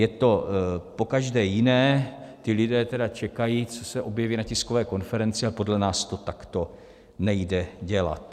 Je to po každé jiné, ti lidé tedy čekají, co se objeví na tiskové konferenci, a podle nás to takto nejde dělat.